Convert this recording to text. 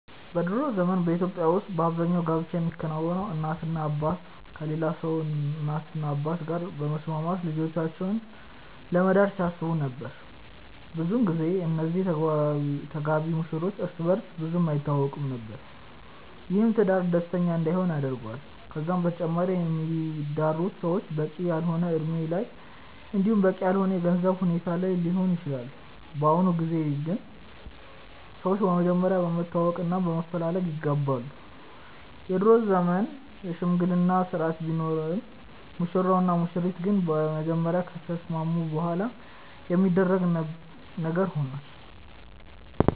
በ ድሮ ዘመን በኢትዮጵያ ውስጥ አብዛኛው ጋብቻ የሚከናወነው እናትና አባት ከሌላ ሰው እናትና አባት ጋር በመስማማት ልጆቻቸውን ለመዳር ሲያስቡ ነበር። ብዙን ጊዜ እነዚህ ተጋቢ ሙሽሮች እርስ በእርስ ብዙም አይተዋወቁም ነበር። ይህም ትዳር ደስተኛ እንዳይሆን ያደርገዋል። ከዛም በተጨማሪ የሚዳሩት ሰዎች በቂ ያልሆነ እድሜ ላይ እንዲሁም በቂ ያልሆነ የገንዘብ ሁኔታ ላይ ሊሆኑ ይችላሉ። በአሁኑ ጊዜ ግን ሰዎች በመጀመሪያ በመተዋወቅ እና በመፈላለግ ይጋባሉ። የድሮ ዘመን የሽምግልና ስርአት ቢኖርም ሙሽራው እና ሙሽሪት ግን በመጀመሪያ ከተስማሙ በኋላ የሚደረግ ነገር ሆኗል።